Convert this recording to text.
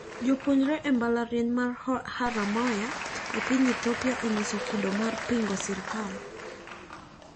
Jopuonjre e mbalariany ma Haromaya epiny Ethiopia nyiso kido mar pingo sirkal.